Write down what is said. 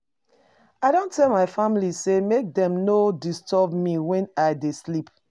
I don tell my family sey make dem no disturb me wen I dey sleep.